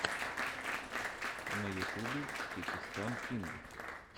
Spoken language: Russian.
на ютубе кекистан кинг